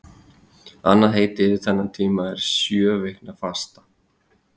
Annað heiti yfir þennan tíma er sjöviknafasta.